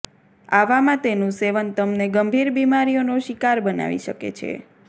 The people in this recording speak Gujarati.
આવામાં તેનુ સેવન તમને ગંભીર બીમારીઓનો શિકાર બનાવી શકે છે